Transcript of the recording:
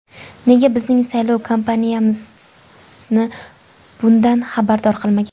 Nega bizning saylov kampaniyamizni bundan xabardor qilmagan?